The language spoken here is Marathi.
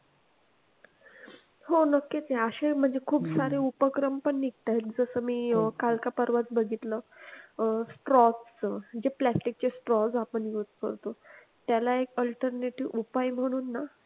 हो नक्कीच या आशय मध्ये खूप सारे उपक्रम पण निघतील तस मी काल का परवाच बघितलं अह straw च जे plastic चे straw आपण use करतो त्याला एक alternative उपाय म्हणून ना